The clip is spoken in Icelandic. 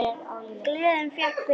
Gleðin vék fyrir glotti.